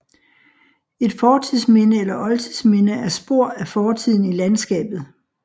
Et fortidsminde eller oldtidsminde er spor af fortiden i landskabet